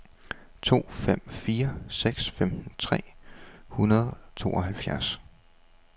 to fem fire seks femten tre hundrede og tooghalvfjerds